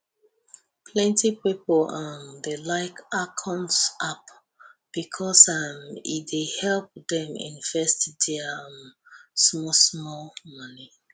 plenty pipo um dey like acorns app becos um e dey help dem invest dia um small small moni